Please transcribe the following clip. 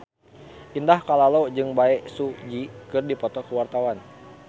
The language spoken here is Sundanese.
Indah Kalalo jeung Bae Su Ji keur dipoto ku wartawan